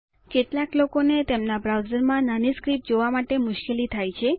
કેટલાક લોકોને તેમના બ્રાઉઝર્સમાં નાની સ્ક્રિપ્ટ જોવા માટે મુશ્કેલી થાય છે